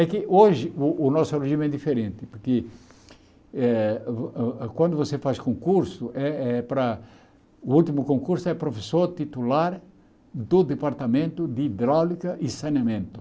É que hoje o o nosso regime é diferente, que é o quando você faz concurso, é é para o último concurso é professor titular do departamento de hidráulica e saneamento.